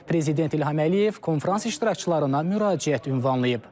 Prezident İlham Əliyev konfrans iştirakçılarına müraciət ünvanlayıb.